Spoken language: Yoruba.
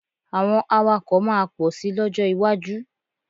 Àwọn awakọ̀ máa pọ̀ sì lọ́jọ́ iwájú.